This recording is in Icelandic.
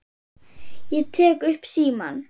Ég tek upp símann.